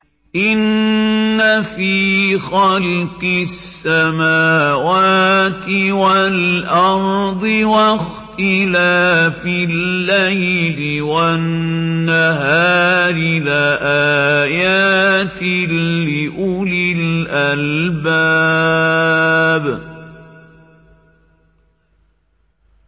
إِنَّ فِي خَلْقِ السَّمَاوَاتِ وَالْأَرْضِ وَاخْتِلَافِ اللَّيْلِ وَالنَّهَارِ لَآيَاتٍ لِّأُولِي الْأَلْبَابِ